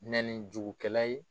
Nɛni jugu kɛla ye.